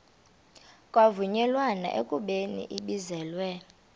kwavunyelwana ekubeni ibizelwe